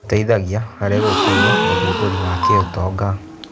Gĩteithagia harĩ gũkũria ũthundũri wa kĩũtonga.